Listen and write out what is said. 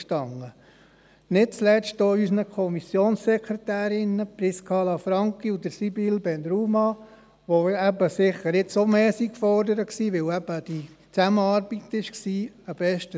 Ein Dank gilt nicht zuletzt auch unseren Kommissionssekretärinnen Prisca Lanfranchi und Sibylle Ben Rhouma, die sicher jetzt wegen dieser Zusammenarbeit auch mehr gefordert waren.